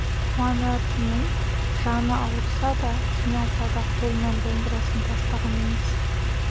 қуанатыным жаны ауырса да қиналса да қолынан домбырасын тастаған емес